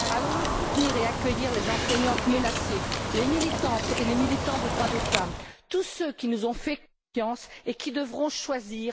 Allons nous soutenir et accueillir les enseignantes menacées, les militantes et les militants des droits des femmes, tous ceux qui nous ont fait confiance et qui devront choisir...